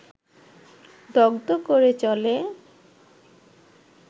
দগ্ধ করে চলে